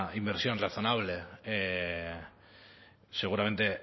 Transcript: inversión razonable seguramente